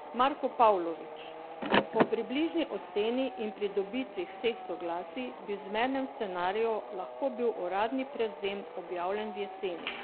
Marko Pavlović: "Po približni oceni in pridobitvi vseh soglasij bi v zmernem scenariju lahko bil uradni prevzem objavljen v jeseni.